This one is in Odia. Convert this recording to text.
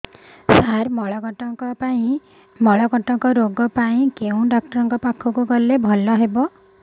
ସାର ମଳକଣ୍ଟକ ରୋଗ ପାଇଁ କେଉଁ ଡକ୍ଟର ପାଖକୁ ଗଲେ ଭଲ ହେବ